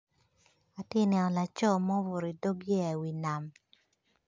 Atye ka neno laco ma obuto i dog yeya i wi nam